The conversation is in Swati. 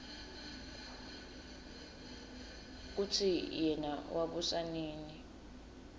kutsi yena wabusa nini